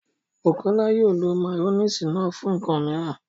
Bukọlá yóò lọ mayonnaise náà fún nkan míìran.